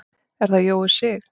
Er það Jói Sig?